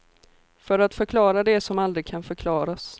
För att förklara det som aldrig kan förklaras.